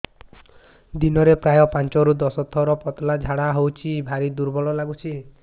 ଦିନରେ ପ୍ରାୟ ପାଞ୍ଚରୁ ଦଶ ଥର ପତଳା ଝାଡା ହଉଚି ଭାରି ଦୁର୍ବଳ ଲାଗୁଚି